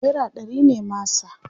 naira ɗari ne masa